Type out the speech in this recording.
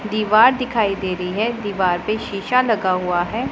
दीवार दिखाई दे रही है दीवार पे शीशा लगा हुआ है।